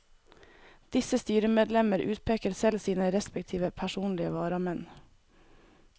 Disse styremedlemmer utpeker selv sine respektive personlige varamenn.